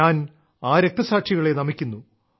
ഞാൻ ആ രക്തസാക്ഷികളെ നമിക്കുന്നു